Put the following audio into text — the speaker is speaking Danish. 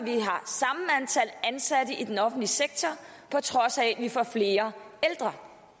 at ansatte i den offentlige sektor på trods af at vi får flere ældre